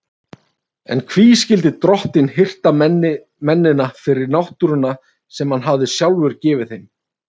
En hví skyldi drottinn hirta mennina fyrir náttúruna sem hann hafði sjálfur gefið þeim?